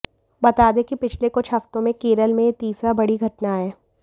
बता दे कि पिछले कुछ हफ्तों में केरल में यह तीसरी बड़ी घटना है